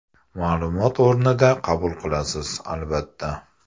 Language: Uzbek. Ma’lumot o‘rnida qabul qilasiz, albatta.